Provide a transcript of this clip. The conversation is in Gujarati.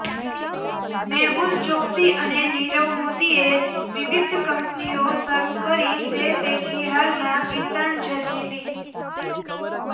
મેહુલ ચોક્સી અને નીરવ મોદીએ વિવિધ કંપનીઓ શરૃ કરી તે પૈકી હાલમાં ગીતાંજલી લિ